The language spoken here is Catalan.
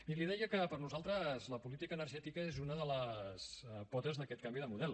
i li deia que per nosaltres la política energètica és una de les potes d’aquest canvi de model